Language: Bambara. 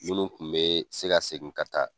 Minnu kun be se ka segin ka taa